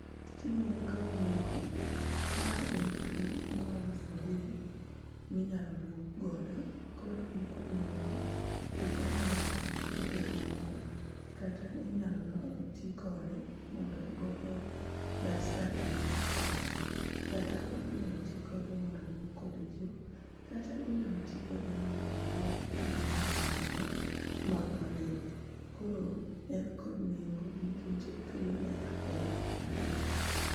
Tijni nikod nengo ma en pii moole sabun minyalo luok godo . Koro en kod nengo kech onyalo keto lepwa bed maler kata inyalo los tii kode mondo ogo go dasta e i ot kata o inyalo tii kode mondo oluok kode choo mata inyalo tii kode mondo oluok gimoramora ma oli. Koro en kod nengo nikech okelo ler e aluora.